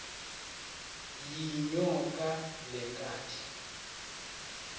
yinyoka le kanti